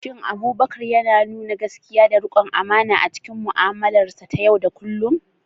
Shin Abubakar yana nuna gaskiya da riƙon amana a cikin mu'amalarsa ta yau da kullum?